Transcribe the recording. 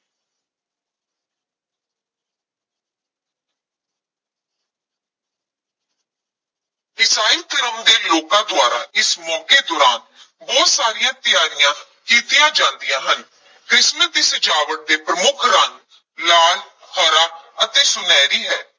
ਈਸਾਈ ਧਰਮ ਦੇ ਲੋਕਾਂ ਦੁਆਰਾ ਇਸ ਮੌਕੇ ਦੌਰਾਨ ਬਹੁਤ ਸਾਰੀਆਂ ਤਿਆਰੀਆਂ ਕੀਤੀਆਂ ਜਾਂਦੀਆਂ ਹਨ, ਕ੍ਰਿਸਮਸ ਦੀ ਸਜਾਵਟ ਦੇ ਪ੍ਰਮੁਖ ਰੰਗ ਲਾਲ, ਹਰਾ ਅਤੇ ਸੁਨਹਿਰੀ ਹੈ।